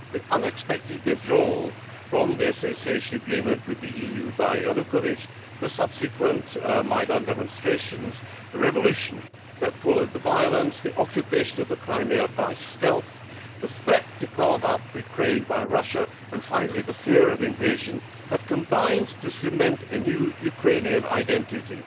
The unexpected withdrawal from the Association Agreement with the EU by Yanukovych, the subsequent Maidan demonstrations, the revolution that followed the violence, the occupation of the Crimea by stealth, the threat to carve up Ukraine by Russia and, finally, the fear of invasion have combined to cement a new Ukrainian identity.